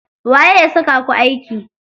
Waye ya saka ku aiki?